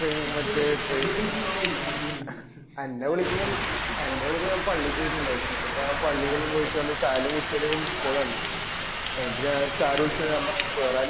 എന്ന വിളിക്കുമ്പോ എന്നെ വിളികകുമ്പ ഞാന് പള്ളീല് പോയിട്ട് ഇണ്ടായേനെ ഞാനാ പള്ളീലഎല്ലും പോയിട്ടവന്ന് ഛായാഎല്ലും കുടിച്ചേനറ്റ് ഞാന ഒരു MISS CALL കാണുന് എന്നിട്ട് ഞാൻ sir വിളിച്ച് ഞാൻ പറഞ് നീ വെരാരയും